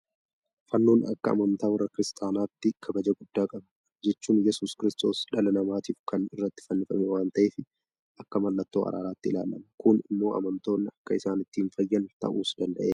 Fannoon akka amantaa warra kiristaanaatti kabaja guddaa qaba. Kana jechuun Yesuus kiristoos dhala namaatiif kan irratti fannifame waanta ta'eef akka mallattoo araaraatti ilaalama. Kun immoo amantoonni akka isaan ittiin fayyan ta'uus danda'eera.